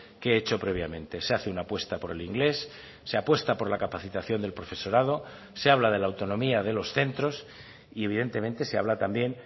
que he hecho previamente se hace una apuesta por el inglés se apuesta por la capacitación del profesorado se habla de la autonomía de los centros y evidentemente se habla también